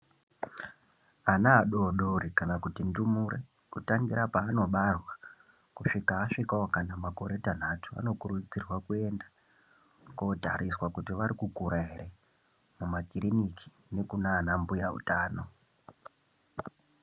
Ana adodori kana kuti ndumure kutangira paanobarwa kusvika azvikawo kana pamakore Tanhatu anokurudzirwa kuenda kunotariswa kuti arikukura here mumakiriniki nekunana mbuya utano.